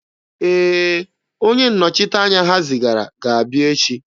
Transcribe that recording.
Ee, onye nnọchiteanya ha zigara ga-abịa echi.